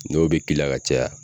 N'o be k'i la ka caya